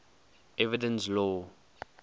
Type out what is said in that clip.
evidence law